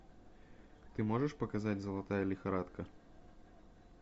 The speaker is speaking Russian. ты можешь показать золотая лихорадка